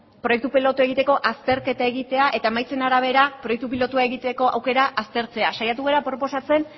proiektu pilotua egiteko azterketa egitea eta emaitzen arabera proiektu pilotua egiteko aukera aztertzea saiatu gara proposatzen